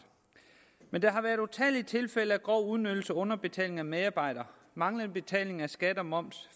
men der har været utallige tilfælde af grov udnyttelse underbetaling af medarbejdere manglende betaling af skat og moms